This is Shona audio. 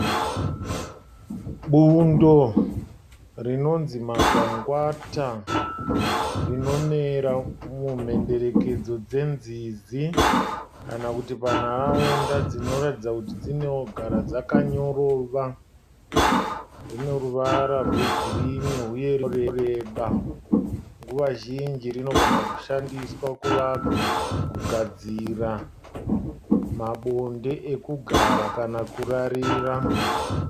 Bundo rinonzi magwangwata rinomera mumhenderekedzo dzenzizi kana kuti panharaunda dzinoratidza kuti dzinogara dzakanyorova. Dzine ruvara rwegirinhi uye runoreba. Nguva zhinji dzinogona kushandiswa kugadzira mabonde ekugara kana kurarira.